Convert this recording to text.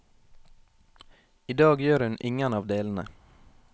I dag gjør hun ingen av delene.